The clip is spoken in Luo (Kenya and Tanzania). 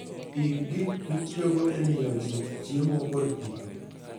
Ik gik mitiyogo e miyo ji chiemo kod pi